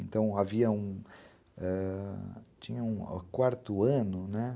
Então, havia um... Tinha um quarto ano, né?